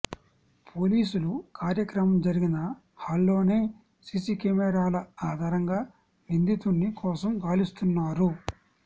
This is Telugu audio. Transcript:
పోలీసులు కార్యక్రమం జరిగిన హాల్లోని సీసీ కెమెరాల ఆధారంగా నిందితుని కోసం గాలిస్తున్నారు